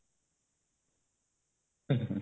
ହୁଁ ହୁଁ